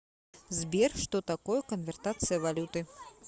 сбер что такое конвертация валюты